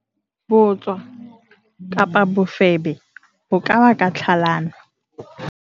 bootswa, bofebe bo ka baka tlhalano